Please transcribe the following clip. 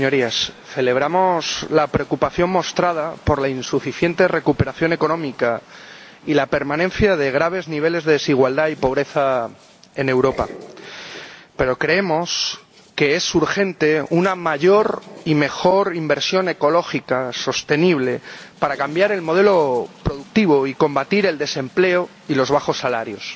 Señor Presidente, Señorías, celebramos la preocupación mostrada por la insuficiente recuperación económica y la permanencia de graves niveles de desigualdad y pobreza en Europa, pero creemos que es urgente una mayor y mejor inversión ecológica sostenible para cambiar el modelo productivo y combatir el desempleo y los bajos salarios.